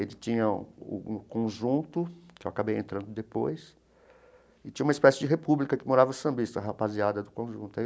Ele tinha o um Conjunto, que eu acabei entrando depois, e tinha uma espécie de república que morava o sambista, a rapaziada do Conjunto